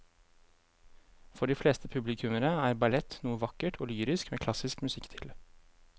For de fleste publikummere er ballett noe vakkert og lyrisk med klassisk musikk til.